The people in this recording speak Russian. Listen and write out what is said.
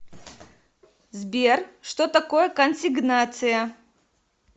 сбер что такое консигнация